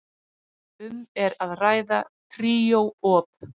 Um er að ræða tríó op.